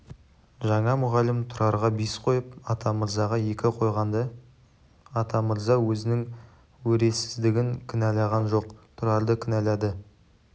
жаңа мұғалім тұрарға бес қойып атамырзаға екі қойғанда атамырза өзінің өресіздігін кінәлаған жоқ тұрарды кінәлады